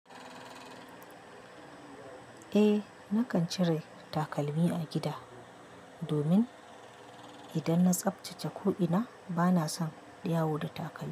Eh nakan cire takalmi a gida domin idan na tsaftace ko'ina bana son yawo da takalmi.